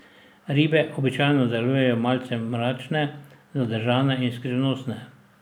Ribe običajno delujejo malce mračne, zadržane in skrivnostne.